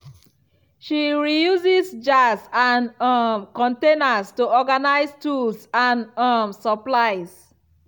she reuses jars and um containers to organize tools and um supplies.